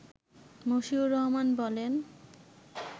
মশিউর রহমান বলেন